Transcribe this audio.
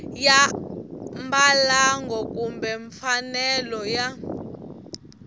ya mbalango kumbe mfanelo ya